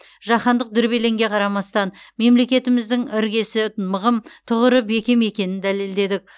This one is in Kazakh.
жаһандық дүрбелеңге қарамастан мемлекетіміздің іргесі мығым тұғыры бекем екенін дәлелдедік